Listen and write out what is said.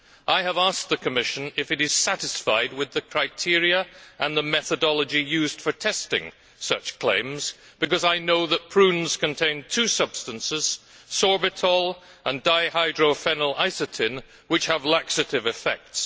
I have asked the Commission if it is satisfied with the criteria and the methodology used for testing such claims because I know that prunes contain two substances, sorbitol and dihydrophenylisatin, which have laxative effects.